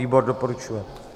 Výbor doporučuje.